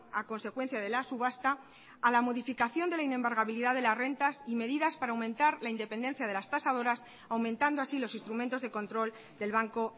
a consecuencia de la subasta a la modificación de la inembargabilidad de las rentas y medidas para aumentar la independencia de las tasadoras aumentando así los instrumentos de control del banco